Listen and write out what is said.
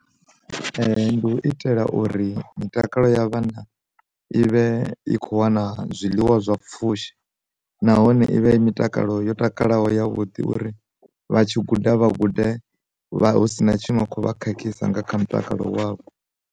Ndi u itela uri mitakalo ya vhana, i vhe i kho wana zwiḽiwa zwa pfhushi nahone ivha i mitakalo yo takalaho yavhuḓi uri vha tshi guda vha gude vha husina tshiṅwe khovha khakhisa nga kha mutakalo wavho.